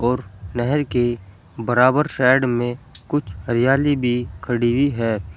और नहर के बराबर साइड में कुछ हरियाली भी खड़ी हुई है।